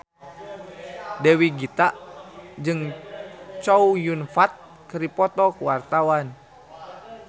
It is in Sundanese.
Dewi Gita jeung Chow Yun Fat keur dipoto ku wartawan